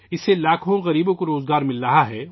اس سے لاکھوں غریبوں کو روزگار مل رہا ہے